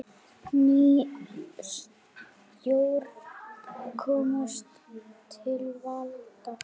Ný stjórn komst til valda.